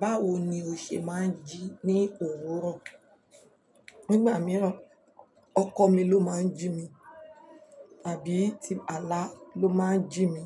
Báwo ni o ṣe máa ń jí ní òwúrọ̀? Nígbà mìíràn ọkọ mi ló máa ń jí mi tàbí ti àlà ló máa ń jí mi,